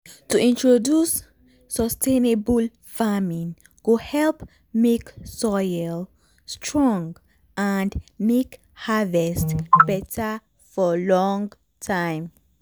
to introduce sustainable farming go help make soil strong and make harvest beta for long time.